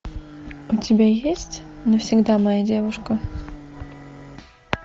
у тебя есть навсегда моя девушка